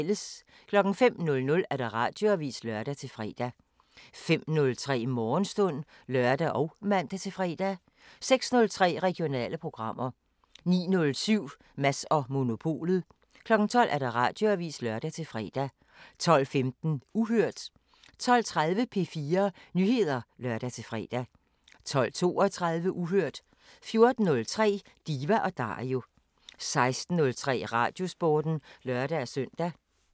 05:00: Radioavisen (lør-fre) 05:03: Morgenstund (lør og man-fre) 06:03: Regionale programmer 09:07: Mads & Monopolet 12:00: Radioavisen (lør-fre) 12:15: Uhørt 12:30: P4 Nyheder (lør-fre) 12:32: Uhørt 14:03: Diva & Dario 16:03: Radiosporten (lør-søn)